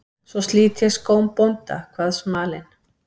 Svo slit ég skóm bónda, kvað smalinn.